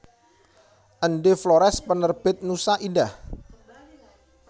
Ende Flores Penerbit Nusa Indah